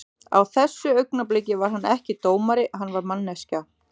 Á þessu augnabliki var hann ekki dómari, hann var manneskja.